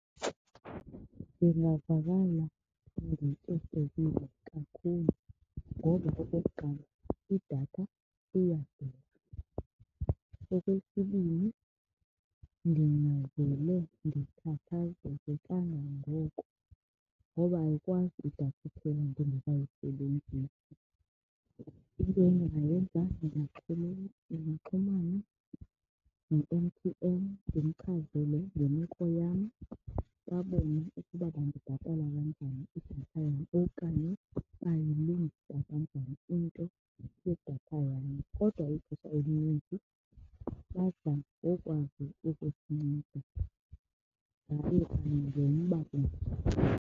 Ndingavakala ndiphoxekile kakhulu ngoba okokuqala idatha iyadura. Okwesibini, ndingavele ndikhathazeke kangangoko ngoba ayikwazi idatha iphele ndingekayisebenzisi. Into endingayenza ndingaxhumana no-M_T_N ndimchazele ngemeko yam, babone ukuba bandibhatale kanjani idatha yam okanye bayilungisa kanjani into yedatha yam kodwa ixesha elininzi badla ngokwazi ukusinceda ngawo kanye lo mba unje.